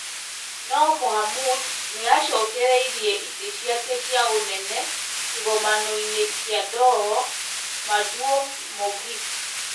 no Mohamud nĩ aacokereirie itĩ ciake cia ũnene kĩgomano-inĩ kĩa Doho Maduong' Mogik.